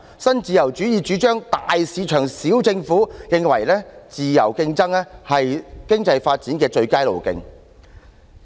新自由主義主張"大市場，小政府"，認為自由競爭是經濟發展的最佳路徑。